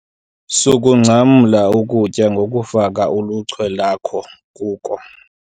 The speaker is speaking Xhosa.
Sukungcamla ukutya ngokufaka uluchwe lwakho kuko.